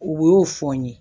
U y'o fɔ n ye